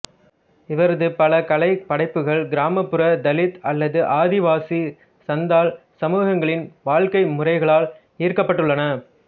இவரது பல கலை படைப்புகள் கிராமப்புற தலித் அல்லது ஆதிவாசி சந்தால் சமூகங்களின் வாழ்க்கை முறைகளால் ஈர்க்கப்பட்டுள்ளன